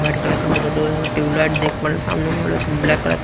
white colour का door है tube light देख पर सामने ब्लैक कलर का--